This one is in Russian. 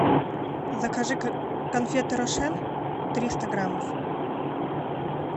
закажи конфеты рошен триста граммов